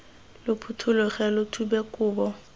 lo phuthologe lo thube kobo